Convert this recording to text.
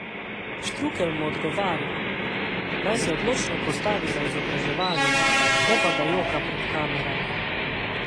Štrukelj mu odgovarja, naj se odločno postavi za izobraževanje, ne pa da joka pred kamerami.